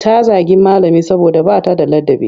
Ta zagi malami saboda ba ta da ladabi.